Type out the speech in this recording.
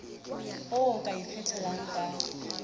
oo o ka ikgethelang ka